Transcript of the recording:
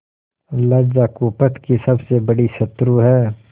लज्जा कुपथ की सबसे बड़ी शत्रु है